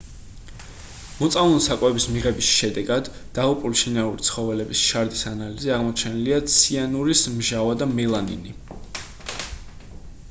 მოწამლული საკვების მიღების შედეგად დაღუპული შინაური ცხოველების შარდის ანალიზში აღმოჩენილია ციანურის მჟავა და მელამინი